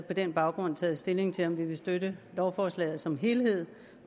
på den baggrund taget stilling til om vi vil støtte lovforslaget som helhed